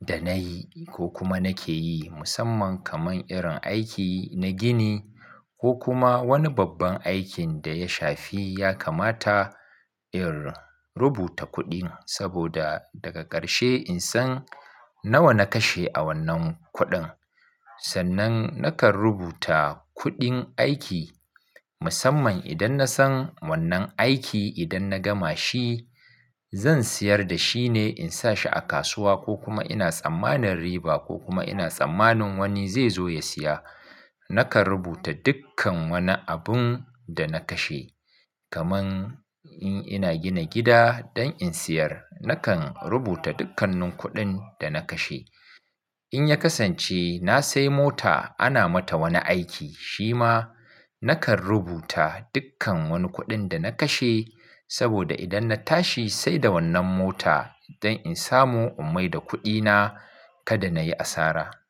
da nayi ko kuma nake yi musamman kaman irin aiki na gini ko kuma wani babban aikin da ya shafi yakamata in rubuta kuɗin saboda daga ƙarshe in san nawa na kashe a wannan kuɗin. Sannan nakan rubuta kuɗin aiki musamman idan na san wannan aiki idan na gama shi zan siyar da shi ne in sa shi a kasuwa ko kuma ina tsammanin riba ko kuma ina tsammanin wani zai zo ya siya. Nakan rubuta dukkan wani abun da na kashe kaman in ina gina gida don in siyar, nakan rubuta dukkanin kuɗin da na kashe. In ya kasance na sai mota ana mata wani aiki shi ma nakan rubuta dukkan wani kuɗin da na kashe saboda idan na tashi sai da wannan mota don in samu ummai da kuɗina kada na yi asara.